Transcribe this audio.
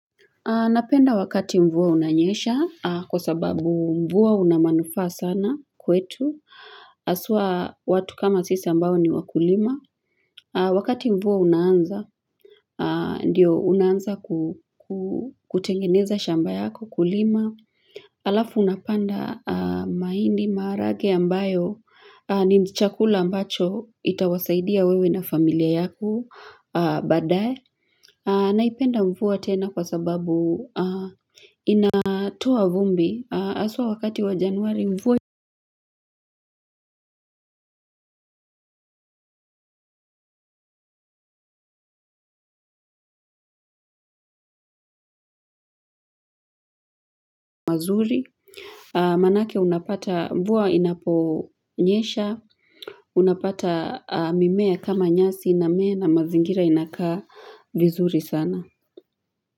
Napenda wakati mvua unanyesha kwa sababu mvua una manufaa sana kwetu. Asua watu kama sisi ambao ni wakulima. Wakati mvua unanza, ndio unaanza kutengeneza shamba yako kulima. Alafu unapanda maindi maharage ambayo ni chakula ambacho itawasaidia wewe na familia yako badaye. Naipenda mvua tena kwa sababu inatoa vumbi aswa wakati wa januari mvua mazuri. Manake unapata mvua inaponyesha, unapata mimea kama nyasi ina mea na mazingira inakaa vizuri sana.